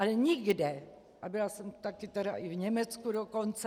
Ale nikde, a byla jsem taky tedy i v Německu dokonce...